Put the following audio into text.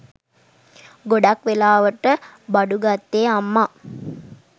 ගොඩක් වෙලාවට බඩුගත්තේ අම්මා